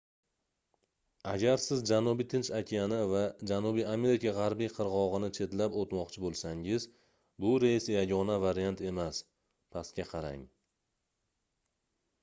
agar siz janubiy tinch okeani va janubiy amerika g'arbiy qirg'og'ini chetlab o'tmoqchi bo'lsangiz bu reys yagona variant emas. pastga qarang